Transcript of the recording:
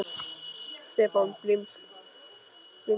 Stefán blimskakkaði á hann augum, fullur efasemda.